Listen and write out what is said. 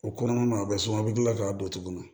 O kɔnɔna na a bɛ suma a bɛ kila k'a don tuguni